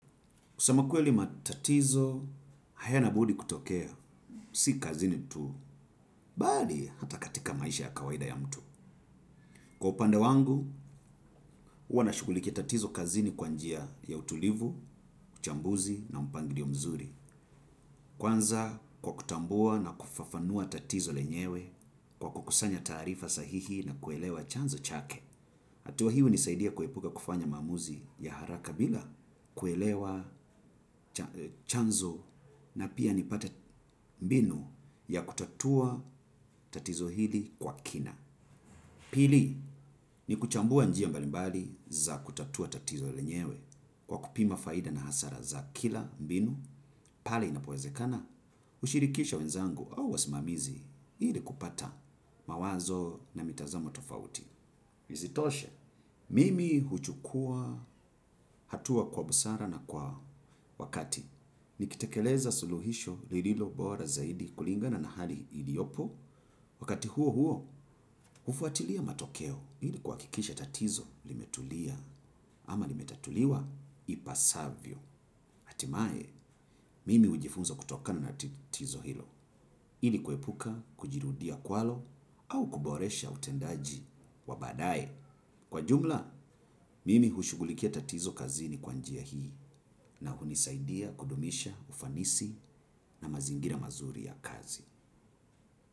Kusema kweli matatizo, haya na budi kutokea, si kazini tu, bali hata katika maisha ya kawaida ya mtu. Kwa upande wangu, huwanashughulikia tatizo kazini kwanjia ya utulivu, uchambuzi na mpangilio mzuri. Kwanza kwa kutambua na kufafanua tatizo lenyewe, kwa kukusanya taarifa sahihi na kuelewa chanzo chake. Hatua hii hunisaidia kuepuka kufanya maamuzi ya haraka bila kuelewa chanzo na pia nipate mbinu ya kutatua tatizo hili kwa kina. Pili ni kuchambua njia mbalimbali za kutatua tatizo lenyewe kwa kupima faida na hasara za kila mbinu pale inapowezekana. Hushirikisha wenzangu au wasimamizi ili kupata mawazo na mitazamo tofauti. Isitoshe, mimi huchukua hatua kwa busara na kwa wakati. Nikitekeleza suluhisho lililo bora zaidi kulingana na hali iliyopo. Wakati huo huo, hufuatilia matokeo ili kuha kikisha tatizo limetulia ama limetatuliwa ipasavyo. Hatimaye, mimi hujifunza kutokana na tatizo hilo. Ili kuepuka, kujirudia kwalo au kuboresha utendaji wa baadaye. Kwa jumla, mimi hushughulikia tatizo kazi ni kwanjia hii na hunisaidia kudumisha ufanisi na mazingira mazuri ya kazi.